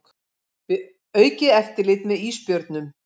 Vill aukið eftirlit með ísbjörnum